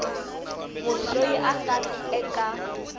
munhu loyi a nga eka